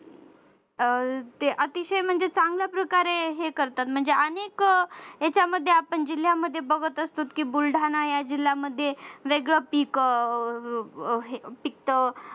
अह ते अतिशय म्हणजे चांगल्या प्रकारे हे करतात म्हणजे अनेक त्याच्यामध्ये आपण जिल्ह्यामध्ये बघत असतो की बुलढाणा या जिल्ह्यांमध्ये वेगळे पिक अह पिकत.